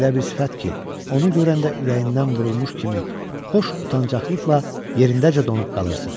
Elə bir sifət ki, onu görəndə ürəyindən vurulmuş kimi xoş utancaqlıqla yerindəcə donub qalırsan.